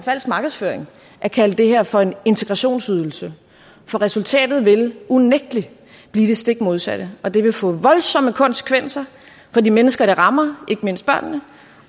falsk markedsføring at kalde det her for en integrationsydelse for resultatet vil unægtelig blive det stik modsatte og det vil få voldsomme konsekvenser for de mennesker det rammer ikke mindst børnene